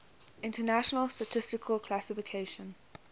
international statistical classification